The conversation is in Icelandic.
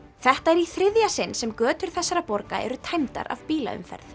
þetta er í þriðja sinn sem götur þessara borga eru tæmdar af bílaumferð